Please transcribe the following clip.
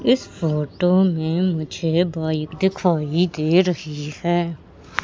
इस फोटो में मुझे बाइक दिखाई दे रही है।